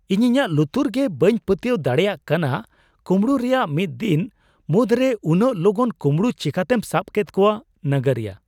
ᱤᱧ ᱤᱧᱟᱹᱜ ᱞᱩᱛᱩᱨ ᱜᱮ ᱵᱟᱹᱧ ᱯᱟᱹᱛᱭᱟᱹᱣ ᱫᱟᱲᱮᱭᱟᱜ ᱠᱟᱱᱟ ᱾ ᱠᱩᱢᱲᱩ ᱨᱮᱭᱟᱜ ᱢᱤᱫ ᱫᱤᱱ ᱢᱩᱫᱽ ᱨᱮ ᱩᱱᱟᱹᱜ ᱞᱚᱜᱚᱱ ᱠᱩᱢᱲᱩ ᱪᱤᱠᱟᱹᱛᱮᱢ ᱥᱟᱵ ᱠᱮᱫ ᱠᱚᱣᱟ? (ᱱᱟᱜᱟᱨᱤᱭᱟᱹ)